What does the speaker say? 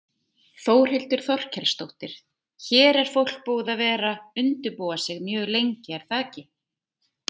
Þórhildur Þorkelsdóttir: Hér er fólk búið að vera undirbúa sig mjög lengi er það ekki?